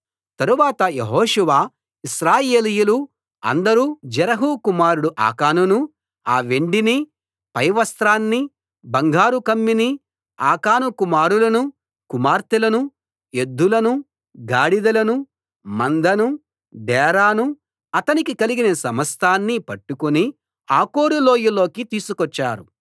తరువాత యెహోషువ ఇశ్రాయేలీయులు అందరూ జెరహు కుమారుడు ఆకానునూ ఆ వెండినీ పైవస్త్రాన్నీ బంగారు కమ్మీనీ ఆకాను కుమారులనూ కుమార్తెలనూ ఎద్దులనూ గాడిదలనూ మందనూ డేరానూ అతనికి కలిగిన సమస్తాన్నీ పట్టుకుని ఆకోరు లోయలోకి తీసుకొచ్చారు